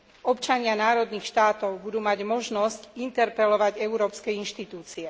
Občania národných štátov budú mať možnosť interpelovať európske inštitúcie.